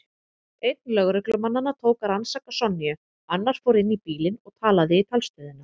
Einn lögreglumannanna tók að rannsaka Sonju, annar fór inn í bílinn og talaði í talstöðina.